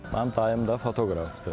Mənim dayım da fotoqrafdır.